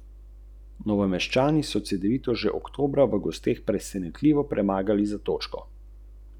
Saj se lahko čudimo posekanemu gozdu, travni bilki, oblaku...